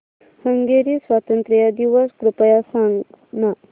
Hungary स्वातंत्र्य दिवस कृपया सांग ना